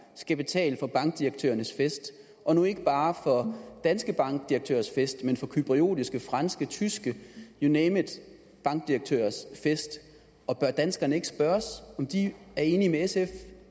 skal betale for bankdirektørernes fest og nu ikke bare for danske bankdirektørers fest men for cypriotiske franske tyske you name it bankdirektørers fest og bør danskerne ikke spørges om de er enige med sf